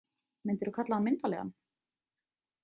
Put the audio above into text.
Myndirðu kalla hann myndarlegan?